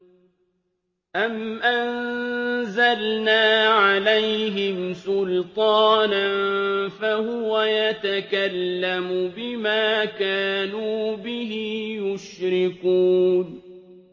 أَمْ أَنزَلْنَا عَلَيْهِمْ سُلْطَانًا فَهُوَ يَتَكَلَّمُ بِمَا كَانُوا بِهِ يُشْرِكُونَ